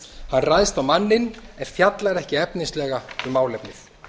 hann ræðst á manninn en fjallar ekki efnislega um málefnið